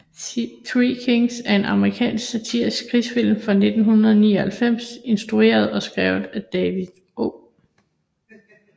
Three Kings er en amerikansk satirisk krigsfilm fra 1999 instrueret og skrevet af David O